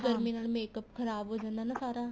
ਗਰਮੀ ਨਾਲ makeup ਖ਼ਰਾਬ ਹੋ ਜਾਂਦਾ ਸਾਰਾ